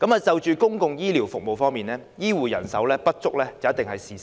在公共醫療服務方面，醫護人手不足是事實。